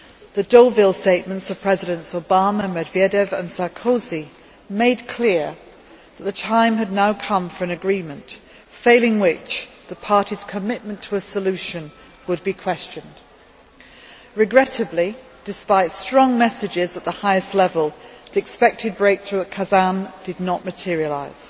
The Deauville statement of Presidents Obama, Medvedev and Sarkozy made clear that the time had now come for an agreement, failing which the parties' commitment to a solution would be questioned. Regrettably, despite strong messages at the highest level, the expected breakthrough at Kazan did not materialise.